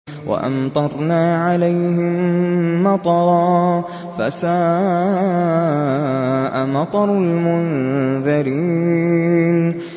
وَأَمْطَرْنَا عَلَيْهِم مَّطَرًا ۖ فَسَاءَ مَطَرُ الْمُنذَرِينَ